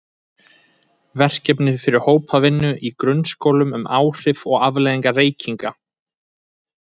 Verkefni fyrir hópvinnu í grunnskólum um áhrif og afleiðingar reykinga.